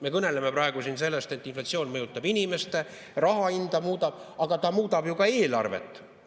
Me kõneleme praegu siin sellest, et inflatsioon mõjutab inimesi, muudab raha hinda, aga ta muudab ka eelarvet.